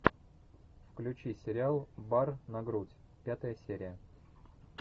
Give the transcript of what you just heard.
включи сериал бар на грудь пятая серия